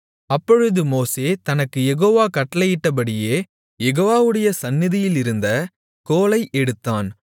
அப்பொழுது மோசே தனக்குக் யெகோவா கட்டளையிட்டபடியே யெகோவாவுடைய சந்நிதியிலிருந்த கோலை எடுத்தான்